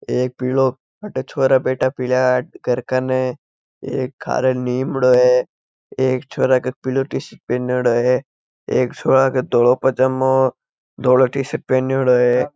एक पीलो अटे छोरा बैठा पिला है घर कण एक घरे नीम है एक छोरा पीला टीशर्ट पहनोड़ो है एक छोरा धोळो पायजामा धोळो टीशर्ट पहनोड़ो है।